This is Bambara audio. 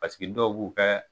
Paseke dɔw b'u kɛ